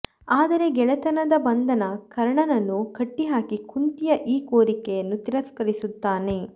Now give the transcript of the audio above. ಆದರೆ ಗೆಳೆತನದ ಬಂಧನ ಕರ್ಣನನ್ನು ಕಟ್ಟಿಹಾಕಿ ಕುಂತಿಯ ಈ ಕೋರಿಕೆಯನ್ನು ತಿರಸ್ಕರಿಸುತ್ತಾನೆ